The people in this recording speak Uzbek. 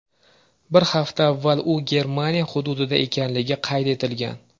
Bir hafta avval u Germaniya hududida ekanligi qayd etilgan.